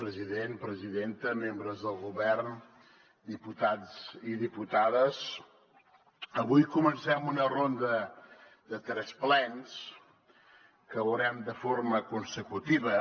president presidenta membres del govern diputats i diputades avui comencem una ronda de tres plens que veurem de forma consecutiva